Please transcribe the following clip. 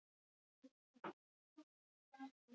Bræður og systur!